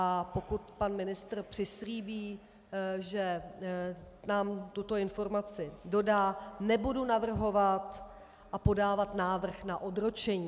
A pokud pan ministr přislíbí, že nám tuto informaci dodá, nebudu navrhovat a podávat návrh na odročení.